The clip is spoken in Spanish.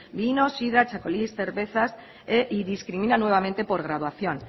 vino sidra txakolís cervezas y discrimina nuevamente por graduación